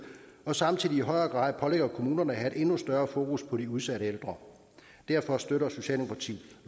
og samtidig i højere grad pålægger kommunerne at have et endnu større fokus på de udsatte ældre derfor støtter socialdemokratiet